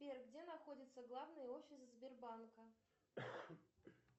сбер где находится главный офис сбербанка